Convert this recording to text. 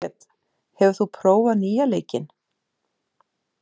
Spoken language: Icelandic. Margret, hefur þú prófað nýja leikinn?